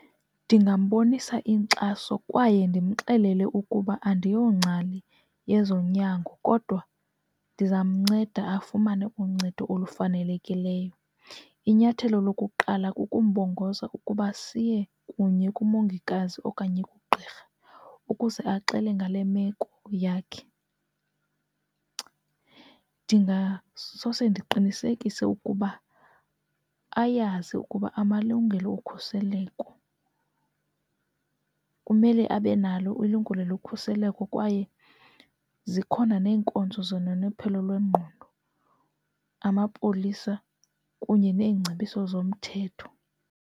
Ndingambonisa inkxaso kwaye ndimxelele ukuba andiyongcali yezonyango kodwa ndizamnceda afumane uncedo olufanelekileyo. Inyathelo lokuqala kukumbongoza ukuba siye kunye kumongikazi okanye kugqirha ukuze axele ngale meko yakhe. Ndingasose ndiqinisekise ukuba ayazi ukuba amalungelo okhuseleko kumele abe nalo ilungile lokhuseleko kwaye zikhona neenkonzo zonononophelo lwengqondo, amapolisa kunye neengcebiso zomthetho.